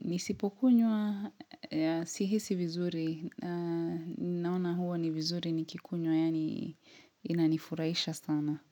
Nisipokunywa Sihisi vizuri Naona huo ni vizuri nikikunywa Yaani inanifuraisha sana.